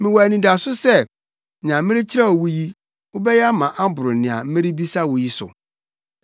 Mewɔ anidaso sɛ, nea merekyerɛw wo yi, wobɛyɛ ama aboro nea merebisa wo yi so.